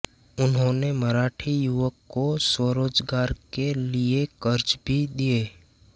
उन्होंने मराठी युवकों को स्वरोजगार के लिए कर्ज भी दिए